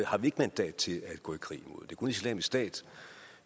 har vi ikke mandat til at gå i krig mod det er kun islamisk stat